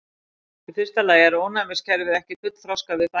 Í fyrsta lagi er ónæmiskerfið ekki fullþroskað við fæðingu.